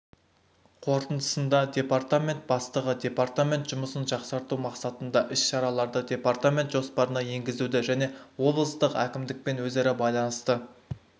қорытындысында департамент бастығы департамент жұмысын жақсарту мақсатында іс-шараларды департамент жоспарына енгізуді және облыстық әкімдікпен өзара байланысты